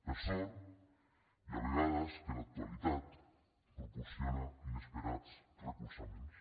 per sort hi ha vegades que l’actualitat proporciona inesperats recolzaments